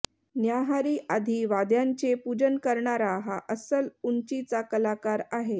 न्याहारी आधी वाद्यांचे पूजन करणारा हा अस्सल उंचीचा कलाकार आहे